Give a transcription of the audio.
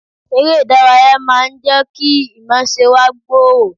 Eré ìdárayá máa ń jẹ́ kí ìmọ̀ọ́ṣe wa gbòòrò